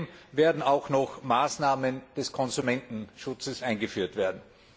Zudem werden auch noch Maßnahmen des Konsumentenschutzes eingeführt werden.